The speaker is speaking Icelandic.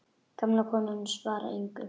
Gamla konan svarar engu.